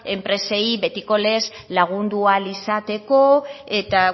enpresei betiko lez lagundu ahal izateko eta